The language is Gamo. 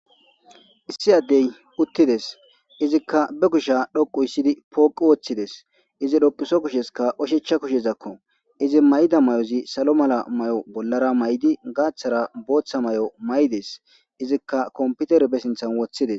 issi addey uttides izikka be kusha dhoqu issidi pooqu woththides izi dhoquso kusheska oshecha kushezakko izi mayda may7ozi salo mala may7o bollara may7di gaaththara booththa may7o may7des izikka komputer be sinthan woththides